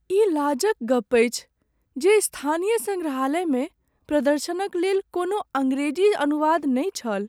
ई लाज क गप अछि जे स्थानीय संग्रहालयमे प्रदर्शनक लेल कोनो अंग्रेजी अनुवाद नहि छल।